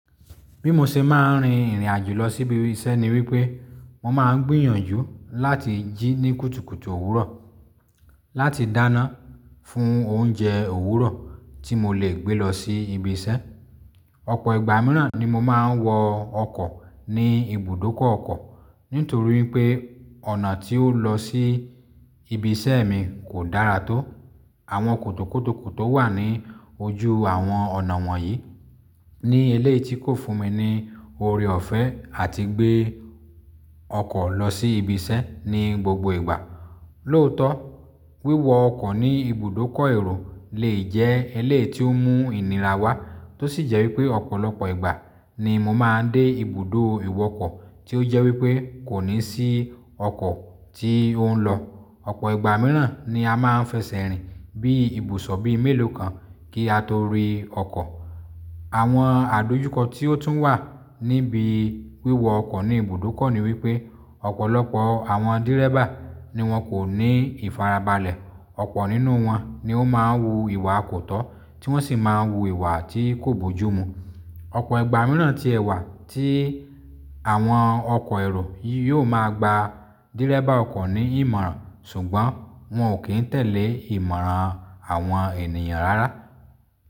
Bí mo ṣe máa ń rin ìrìn àjò lọ síbi iṣẹ́ ni wípé mo máa ń gbìyànjú láti jí ní kùtùkùtù òwúrọ̀ láti dáná fún oúnjẹ òwúrọ̀ tí mo lè gbé lọ sí ibi iṣẹ́. Ọ̀pọ̀ ìgbà mìíràn ni mo máa ń wọ ọkọ̀ ní ibùdókọ̀ ọkọ̀ nítorí wípé ọ̀nà tí ó ń lọ sí ibi iṣẹ́ mi kò dára tó. Àwọn kòtòkòtò tó wà ní ojú àwọn ọ̀nà wọ̀nyí ní èléyìí tí kò fún mi ní oore ọ̀fẹ́ àti gbé ọkọ̀ lọ sí ibi iṣẹ́ ní gbogbo ìgbà. Lóòótọ́, wíwọ ọkọ̀ ní ibùdókọ̀ èrò lè jẹ́ eléyìí tí ó mú ìnira wá tó sì jẹ́ wípé ọ̀pọ̀lọpọ̀ ìgbà ni mo máa ń dé ibùdó ìwọkọ̀ tí ó jẹ́ wípé kò ní sí ọkọ̀ tí ó ń lọ. Ọ̀pọ̀ ìgbà mìíràn ni a máa ń fẹsẹ̀ rìn bí ìbò sọ̀ bí mélòó kan kí a tó rí ọkọ̀. Àwọn àdojúkọ tí ó tún wà níbi wíwọ ọkọ̀ ní ibùdókọ̀ ni wípé ọ̀pọ̀lọpọ̀ àwọn dírẹ́bà ni wón kò ní ìfarabalẹ̀. Ọ̀pọ̀ nínú wọn ni ó máa ń wu ìwà kò tọ́ tí wọ́n sì máa ń wu ìwà tí kò bojúmu. Ọ̀pọ̀ ìgbà mìíràn tí ẹwà tí àwọn ọkọ̀ èrò yóò máa gba dírẹ́bà ọkọ̀ ní ìmọ̀ràn ṣùgbọ́n wọn ò kí ń tẹ̀lé ìmọ̀ràn àwọn ènìyàn rárá.